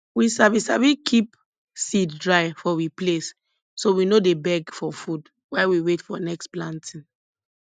we sabi sabi keep seed dry for we place so we no dey beg for food while we wait for next planting